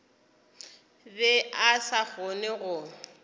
be a sa kgone go